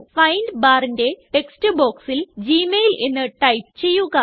find barന്റെ text ബോക്സിൽ Gmail എന്ന് ടൈപ്പ് ചെയ്യുക